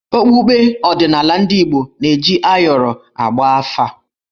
Okpukpe odịnala ndị Igbo na-eji ayọrọ agba afà.